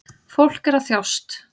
Fólk er að þjást